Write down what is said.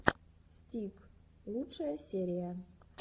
стиг лучшая серия